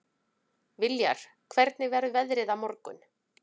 Viljar, hvernig verður veðrið á morgun?